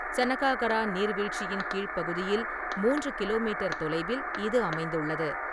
சனகாகரா நீர்வீழ்ச்சியின் கீழ்ப் பகுதியில் மூன்று கிலோமீட்டர் தொலைவில் இது அமைந்துள்ளது.